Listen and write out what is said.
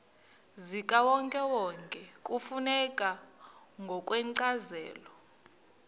zikawonkewonke kufuneka ngokwencazelo